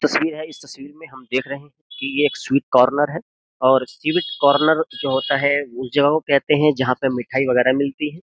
तस्वीर है इस तस्वीर में हम देख रहे है कि ये एक स्वीट कार्नर है और स्वीट कार्नर जो होता है जो कहते है जहां पे मिठाई वगैरह मिलती है।